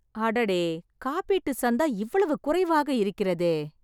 அடடே ! காப்பீட்டு சந்தா இவ்வளவு குறைவாக இருக்கிறதே.